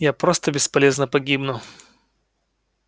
я просто бесполезно погибну